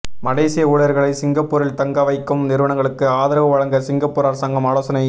மலேசிய ஊழியர்களை சிங்கப்பூரில் தங்க வைக்கும் நிறுவனங்களுக்கு ஆதரவு வழங்க சிங்கப்பூர் அரசாங்கம் ஆலோசனை